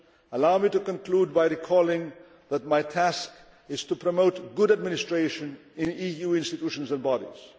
Allow me to conclude by recalling that my task is to promote good administration in EU institutions and bodies.